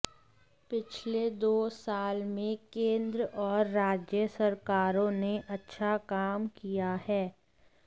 पिछले दो साल में केंद्र और राज्य सरकारों ने अच्छा काम किया है